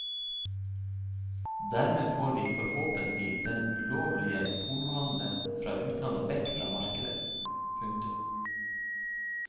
Dermed får vi forhåpentlig den ulovlige pornohandel fra utlandet vekk fra markedet. punktum